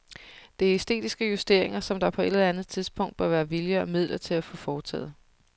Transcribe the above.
Det er æstetiske justeringer, som der på et eller andet tidspunkt bør være vilje og midler til at få foretaget.